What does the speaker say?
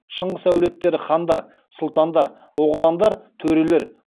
шыңғыс әулеттері хандар сұлтандар оғландар төрелер